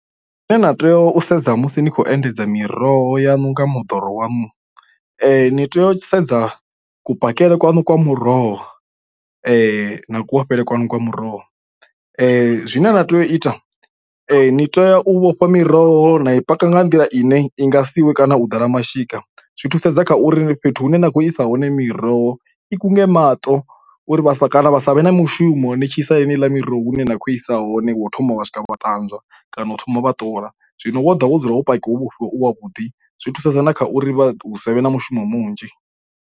Zwine na tea u sedza musi ni khou endedza miroho ya nga moḓoro wanu ni tea u sedza kupakele kwanu kwa muroho na kuvhofhele kwanu kwa muroho . Zwine na tea u ita ni ane tea u vhofha miroho na i paka nga nḓila ine i nga siwe kana u ḓala mashika, zwi thusedza kha uri fhethu hune na kho isa hone miroho i kunge maṱo uri vha sa, kana vha savhe mushumo ni tshi isa heneiḽa miroho hune na kho i isa hone wo thoma wa swika wa ṱanzwa kana u thoma vha ṱola. Zwino woda wo dzula wo pakiwa wo vhofhiwa u wa vhuḓi zwi thusedza na kha uri vha savhe na mishumo munzhi.